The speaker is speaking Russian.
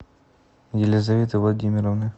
елизаветы владимировны